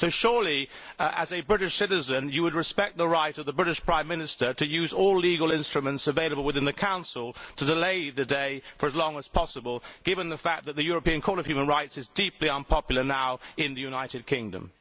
Surely, as a British citizen, you would respect the right of the British Prime Minister to use all legal instruments available within the Council to delay the day for as long as possible, given the fact that the European Court of Human Rights is deeply unpopular now in the United Kingdom?